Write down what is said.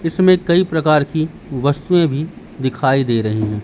इसमें कई प्रकार की वस्तुएं भी दिखाई दे रही है।